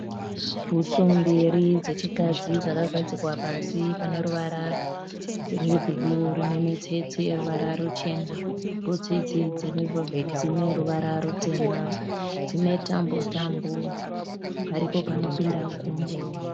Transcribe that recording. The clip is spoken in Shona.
Bhutsu mbiri dzechikadzi dzakagadzikwa pasi pane ruvara rwebhuruu rine mitsetse yeruvara michena. Bhutsu idzi dzine ruvara rutema. Dzine tambo tambo. Paripo panopinda gumbo.